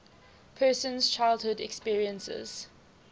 person's childhood experiences